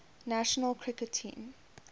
national cricket team